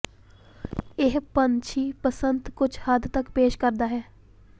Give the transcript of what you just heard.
ਇਹ ਪੰਛੀ ਬਸੰਤ ਕੁਝ ਹੱਦ ਤੱਕ ਪੇਸ਼ ਕਰਦਾ ਹੈ